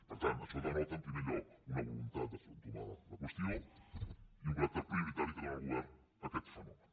per tant això denota en primer lloc una voluntat d’entomar la qüestió i un caràcter prioritari que dóna el govern a aquest fenomen